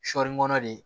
Sɔɔni de